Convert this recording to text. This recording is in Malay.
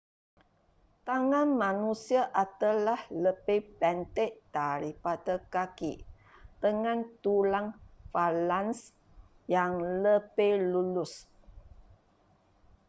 tangan manusia adalah lebih pendek daripada kaki dengan tulang falanks yang lebih lurus